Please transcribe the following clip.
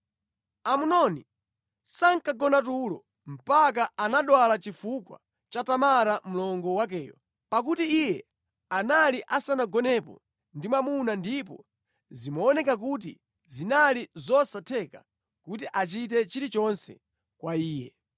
Amnoni sankagona tulo mpaka anadwala chifukwa cha Tamara mlongo wakeyo, pakuti iye anali asanagonepo ndi mwamuna ndipo zimaoneka kuti zinali zosatheka kuti achite chilichonse kwa iye.